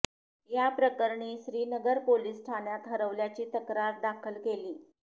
या प्रकरणी श्रीनगर पोलीस ठाण्यात हरवल्याची तक्रार दाखल केली